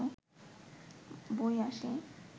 বই আসে